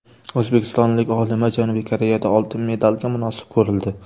O‘zbekistonlik olima Janubiy Koreyada oltin medalga munosib ko‘rildi.